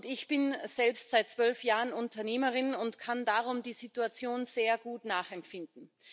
Ich bin selbst seit zwölf Jahren Unternehmerin und kann darum die Situation sehr gut nachempfinden.